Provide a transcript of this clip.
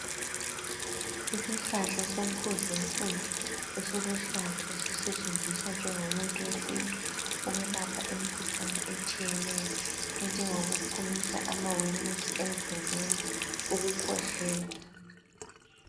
Isihlahla somfuzufuzu esiluhlaza esisetshenziswa njengomuthi wesintu ukwelapha imikhuhlane etshiyeneyo enjengokuphumisa amawemusi emzimbeni ukukhwehlela.